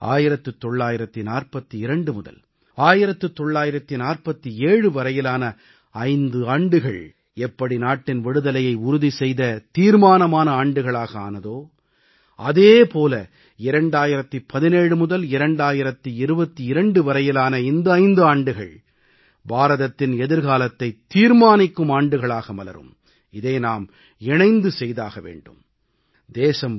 அப்போது தான் 1942 முதல் 1947 வரையிலான 5 ஆண்டுகள் எப்படி நாட்டின் விடுதலையை உறுதி செய்த தீர்மானமானமான ஆண்டுகளாக ஆனதோ அதே போல 2017 முதல் 2022 வரையிலான இந்த 5 ஆண்டுகள் பாரதத்தின் எதிர்காலத்தைத் தீர்மானிக்கும் ஆண்டுகளாக மலரும் இதை நாம் இணைந்து செய்தாக வேண்டும்